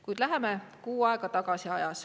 Kuid läheme ajas kuu aega tagasi.